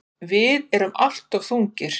Þið eruð alltof þungir.